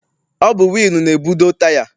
Ọ bụ wịịlụ na-ebudo taya.